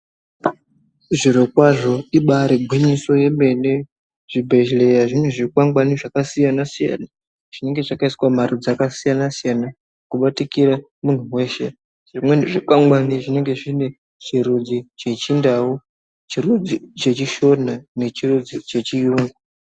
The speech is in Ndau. Zvirokwazvo ibari gwinyiso yemene zvibhedhleya zvine zvikwangwani zvakasiyana siyana zvinengezvakaiswa mumarudzi akasiyana siyana kubatikira munthu weshe zvimweni zvikwangwani zvinenge zvine chirudzi cheChindau, chirudzi, chirudzi chechiShona nechirudzi cheChiyungu.